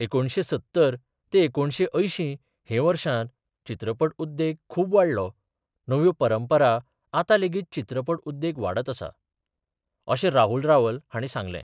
एकुणशें सत्तर ते एकुणशें अंयशीं हे वर्सांत चित्रपट उद्येग खुब वाडलो, नव्यो परंपरा आता लेगीत चित्रपट उद्येग वाडत आसा, अशें राहुल रावल हांणी सांगलें.